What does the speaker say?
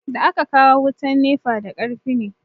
Da aka kawo wutan nefa da karfi ne